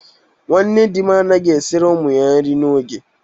Nwunye di m anaghị esiri ụmụ ya nri n'oge.